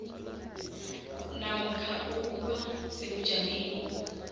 namkha ukuba sebujameni